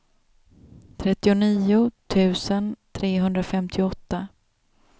trettionio tusen trehundrafemtioåtta